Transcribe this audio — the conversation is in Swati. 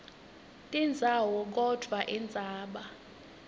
tindzawo kodvwa indzaba